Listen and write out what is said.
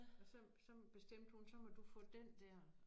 Og så så bestemte hun så må du få den dér